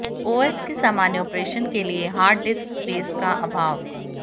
OS के सामान्य operation के लिए हार्ड डिस्क स्पेस का अभाव